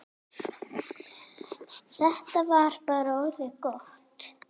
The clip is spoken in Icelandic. Þetta var bara orðið gott.